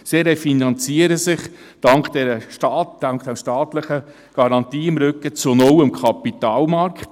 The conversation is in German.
Sie refinanziert sich dank der staatlichen Garantie im Rücken zu null am Kapitalmarkt.